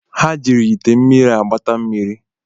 Ha jiri ite mmiri agbata mmiri